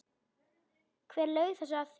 Hver laug þessu að þér?